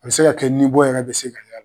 A bɛ se ka kɛ nibɔ yɛrɛ bɛ se ka